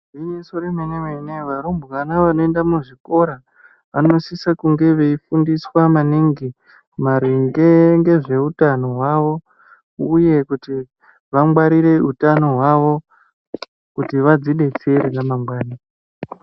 Igwinyiso remene-mene varumbwana vanoenda muzvikora vanosisa kunge veifundiswa maningi maringe ngezvehutano hwavo, uye kuti vangwarire hutano hwavo kuti vadzibetsere ramangwani.